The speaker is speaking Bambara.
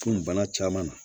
Furu bana caman na